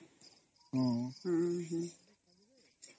noise